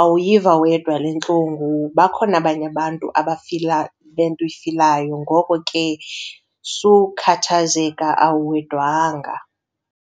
awuyiva wedwa le ntlungu. Bakhona abanye abantu abafila le nto uyifilayo, ngoko ke sukhathazeka awuwedwanga.